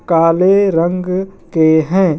काले रंग के हैं।